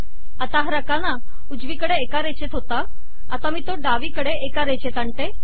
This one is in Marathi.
आत्ता हा रकाना उजवीकडे एका रेषेत होता आता मी तो डावीकडे एका रेषेत आणते